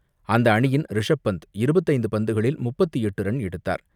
அந்த அணியின் ரிஷப் பந்த் இருபத்து ஐந்து பந்துகளில் முப்பத்து எட்டு ரன் எடுத்தார்.